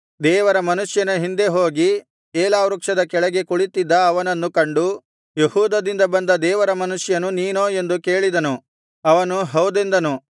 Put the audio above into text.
ದೇವರ ಮನುಷ್ಯನ ಹಿಂದೆ ಹೋಗಿ ಏಲಾ ವೃಕ್ಷದ ಕೆಳಗೆ ಕುಳಿತ್ತಿದ್ದ ಅವನನ್ನು ಕಂಡು ಯೆಹೂದದಿಂದ ಬಂದ ದೇವರ ಮನುಷ್ಯನು ನೀನೋ ಎಂದು ಕೇಳಿದನು ಅವನು ಹೌದೆಂದನು